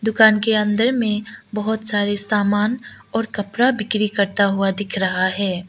दुकान के अंदर में बहोत सारे सामान और कपड़ा बिक्री करता हुआ दिख रहा है।